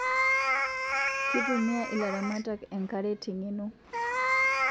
Kitumia ilaramatak enkare tengeno